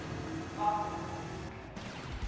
verwante ooreenkomste indien